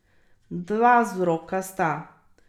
Dva vzroka sta.